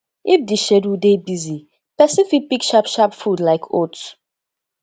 if di schedule dey busy person fit pick sharp sharp food like oat